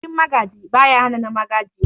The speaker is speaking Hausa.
Bikin Magaji, baya hana na Magajiya.